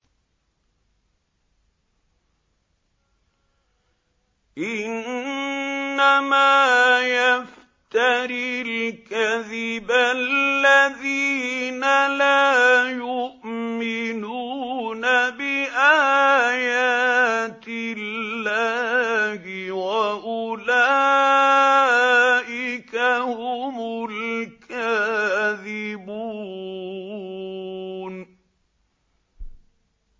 إِنَّمَا يَفْتَرِي الْكَذِبَ الَّذِينَ لَا يُؤْمِنُونَ بِآيَاتِ اللَّهِ ۖ وَأُولَٰئِكَ هُمُ الْكَاذِبُونَ